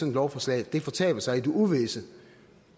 et lovforslag fortaber sig i det uvisse